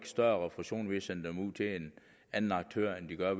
større refusion ved at sende dem ud til en anden aktør end de gør